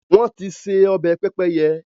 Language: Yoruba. wọ́n ti se “ọbẹ̀ pẹ́pẹ́yẹ”.